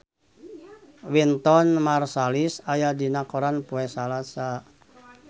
Wynton Marsalis aya dina koran poe Salasa